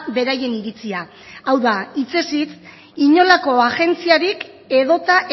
beraien iritzia hau da hitzez hitz inolako agentziarik edota